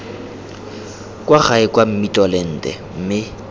kwa gae kwa mmitolente mme